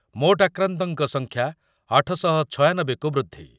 ମୋଟ ଆକ୍ରାନ୍ତଙ୍କ ସଂଖ୍ୟା ଆଠ ଶହ ଛୟାନବେ କୁ ବୃଦ୍ଧି ।